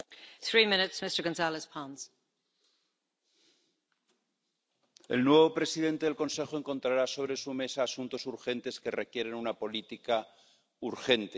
Señora presidenta, el nuevo presidente del Consejo encontrará sobre su mesa asuntos urgentes que requieren una política urgente.